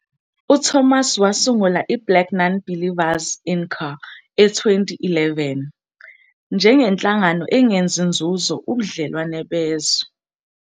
UThomas wasungula iBlack Nonbelievers, Inc. e2011, njengenhlangano engenzi nzuzo, ubudlelwano bezwe.